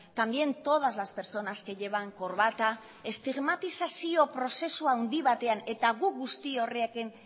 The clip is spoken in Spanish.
también todas las personas que llevan corbata estigmatizazio prozesu handi batean eta guk guzti horrekin